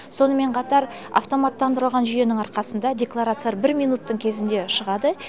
сонымен қатар автоматтандырылған жүйенің арқасында декларациялар бір минуттың кезінде шығады